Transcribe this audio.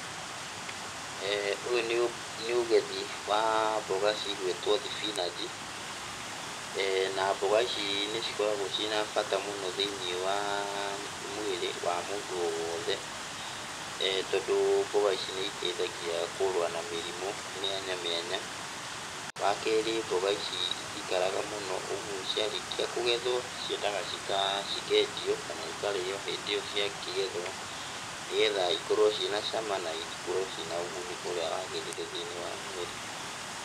Ũyũ nĩ ũgethi wa mboga cigwĩtwo thibinanji, namboga ici nĩcikoragwo ciina bata mũno thĩiniĩ wa mwĩrĩ wa mũndũ o wothe, tondũ mboga ici nĩ iteithagia kũrũa na mĩrĩmũ mĩanya mĩanya. Wakerĩ mboga ici itikaraga mũno ũgwo ciarĩkia kũgethwo ciendaga cika, cikendio kana ikarĩywo hĩndĩ ĩyo ciakĩgethwo, nĩgetha ikorwo cina cama na ikorwo cina ũguni ũrĩa wagĩrĩire thĩiniĩ wa mwĩrĩ.